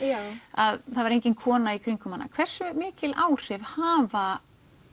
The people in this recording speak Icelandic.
að það var engin kona í kringum hana hversu mikil áhrif hafa